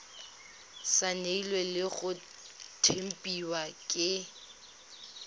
saenilwe le go tempiwa ke